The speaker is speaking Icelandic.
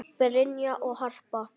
Brynja og Harpa.